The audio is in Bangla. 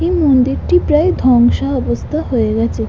এই মন্দিরটি প্রায় ধ্বংসা অবস্থা হয়ে গেছে।